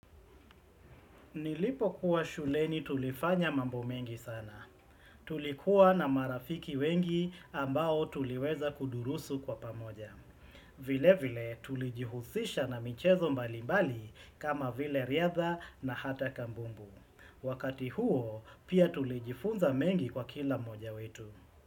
Nilipokuwa shuleni tulifanya mambo mengi sana. Tulikuwa na marafiki wengi ambao tuliweza kudurusu kwa pamoja. Vilevile tulijihusisha na michezo mbalimbali kama vile riadha na hata kambumbu. Wakati huo pia tulijifunza mengi kwa kila mmoja wetu.